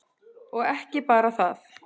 Og ekki bara það.